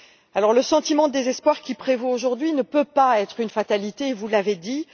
Alors, le sentiment de désespoir qui prévaut aujourd'hui ne peut pas être une fatalité, vous l'avez dit.